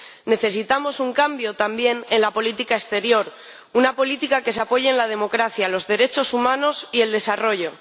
Necesitamos un cambio también en la política exterior una política que se apoye en la democracia, los derechos humanos y el desarrollo.